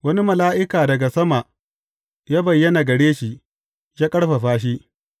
Wani mala’ika daga sama ya bayyana gare shi, ya ƙarfafa shi.